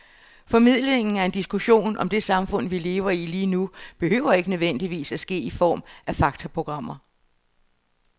Formidlingen af en diskussion om det samfund, vi lever i lige nu, behøver ikke nødvendigvis at ske i form af faktaprogrammer.